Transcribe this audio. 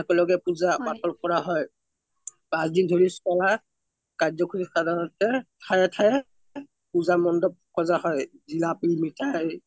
আকেলোগে পুজা পতল কৰা হৈ পাচ দিন ধৰা চলা কৰ্ৱকুচি কৰনতে ঠাইয়ে ঠাইয়ে পুজা মন্দপ সজা হৈ জিলবি, মিঠাই